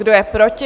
Kdo je proti?